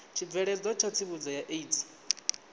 tshibveledzwa tsha tsivhudzo ya aids